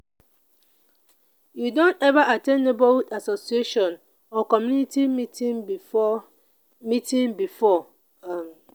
you don ever at ten d neighborhood association or community meeting before? meeting before? um